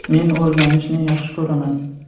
Men o‘rganishni yaxshi ko‘raman.